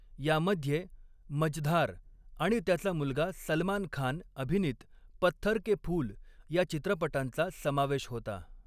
यामध्ये मझधार आणि त्याचा मुलगा सलमान खान अभिनीत 'पत्थर के फूल' या चित्रपटांचा समावेश होता.